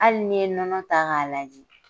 Hali n'i ye nɔnɔ ta k'a laji.